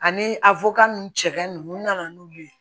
Ani a nun cɛ nunnu nana n'olu ye